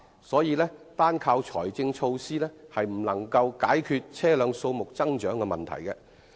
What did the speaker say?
所以，單靠財政措施根本無法解決車輛數目增長的問題。